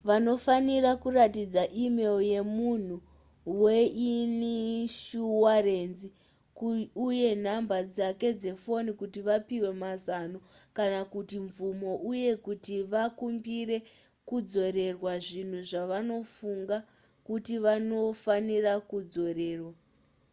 vanofanira kuratidza e-mail yemunhu weinishuwarenzi uye nhamba dzake dzefoni kuti vapiwe mazano kana kuti mvumo uye kuti vakumbire kudzorerwa zvinhu zvavanofunga kuti vanofanira kudzorerwa